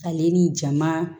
Ale ni jama